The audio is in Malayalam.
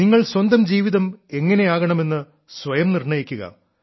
നിങ്ങൾ സ്വന്തം ജീവിതം എങ്ങനെയാകണമെന്ന് സ്വയം നിർണ്ണയിക്കുക